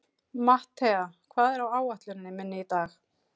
Mattea, hvað er á áætluninni minni í dag?